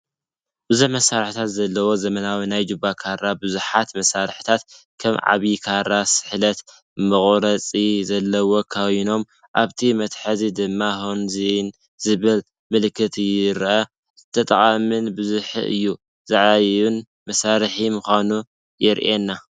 ብዙሕ መሳርሒታት ዘለዎ ዘመናዊ ናይ ጁባ ካራ፣ ብዙሓት መሳርሒታት ከም ዓቢይ ካራ፡ ስሕለት፡ መቑረጺ ዘለዎም ኮይኖም፡ ኣብቲ መትሓዚ ድማ "HONZIN" ዝብል ምልክት ይርአ። ጠቓምን ብዙሕ ዕዮ ዝዓዪን መሳርሒ ምዃኑ የሪኤና፡፡!